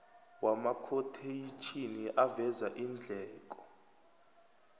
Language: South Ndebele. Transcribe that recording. wamakhotheyitjhini aveza iindleko